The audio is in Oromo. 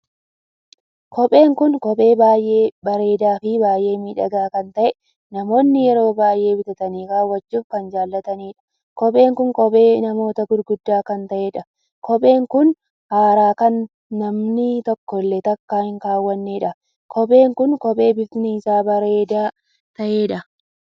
Kopheen kun kophee baay'ee bareedaa fi baay'ee miidhagaa kan tahee namoonni yeroo baay'ee bitatanii kaawwachuuf kan jaallataniidha. kophee kun kophee namoota gurguddaa kan taheedha. kophee kun har'aa kan manni tokkollee takkaa hin kaawwanneedha. kopheen kun kophee bifti isaa bareedaa taheedha.